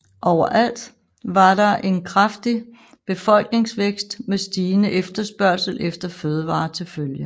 Overalt var der en kraftig befolkningsvækst med stigende efterspørgsel efter fødevarer til følge